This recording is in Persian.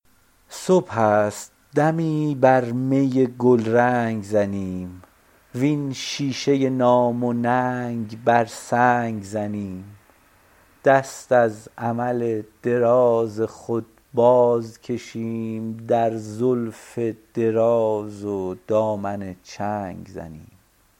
صبح است دمی بر می گلرنگ زنیم وین شیشه نام و ننگ بر سنگ زنیم دست از امل دراز خود باز کشیم در زلف دراز و دامن چنگ زنیم